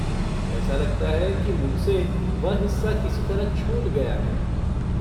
ऐसा लगता है कि मुझसे वह हिस्सा किसी तरह छूट गया है।